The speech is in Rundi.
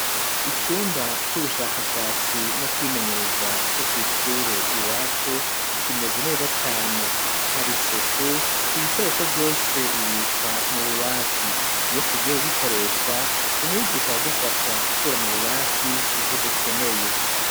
Icumba c'ubushakashatsi no kwimenyereza co kw'ishure iwacu kimeze neza cane hari suku ibikoresho vyose bibikwa mu bubati iyo tugiye ku gikoresha umwigisha aradufasha gukura mu bubati ivyo dukeneye.